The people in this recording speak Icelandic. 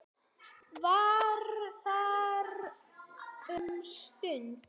Var þar um stund.